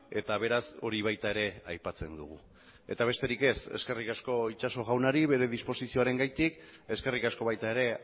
eta beraz hori baita ere aipatzen dugu eta besterik ez eskerrik asko itxaso jaunari bere disposizioarengatik eskerrik asko baita ere